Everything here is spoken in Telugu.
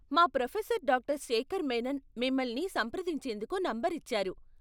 మా ప్రొఫెసర్ డాక్టర్ శేఖర్ మేనన్ మిమ్మల్ని సంప్రదించేందుకు నంబర్ ఇచ్చారు.